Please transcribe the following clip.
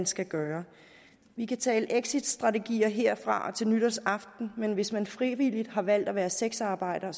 skal gøre vi kan tale exitstrategier herfra og til nytårsaften men hvis man frivilligt har valgt at være sexarbejder